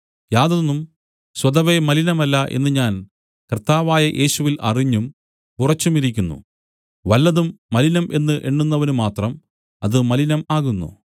യാതൊന്നും സ്വതവേ മലിനമല്ല എന്നു ഞാൻ കർത്താവായ യേശുവിൽ അറിഞ്ഞും ഉറച്ചുമിരിക്കുന്നു വല്ലതും മലിനം എന്നു എണ്ണുന്നവനുമാത്രം അത് മലിനം ആകുന്നു